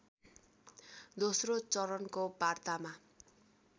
दास्रो चरणको वार्तामा